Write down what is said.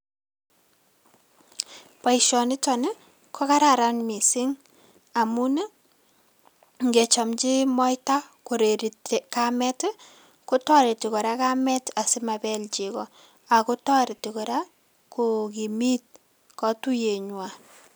Boisionito kokararan mising amun ngechomchi moita koreri kamet kotoreti kora kamet asimapel cheko ako toreti kora kookimit katuiyenywa.